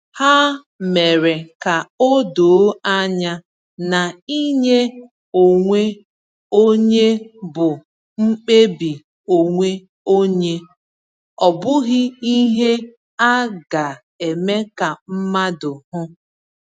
Ha mere ka o doo anya na inye onwe onye bụ mkpebi onwe onye, ọ bụghị ihe a ga-eme ka mmadụ hụ.